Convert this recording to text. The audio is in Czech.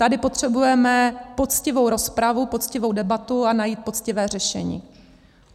Tady potřebujeme poctivou rozpravu, poctivou debatu a najít poctivé řešení.